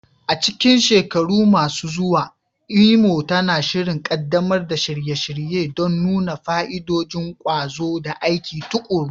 A cikin shekaru masu zuwa, Imo tana shirin ƙaddamar da shirye-shirye don nuna fa'idodin ƙwazo da aiki tuƙuru.